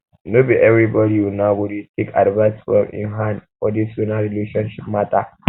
no be everybodi una una go dey take advice from im hand for dis una relationship mata